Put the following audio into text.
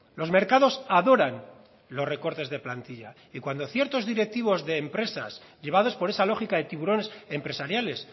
los mercados adoran los recortes de plantilla y cuando ciertos directivos de empresas llevados por esa lógica de tiburones empresariales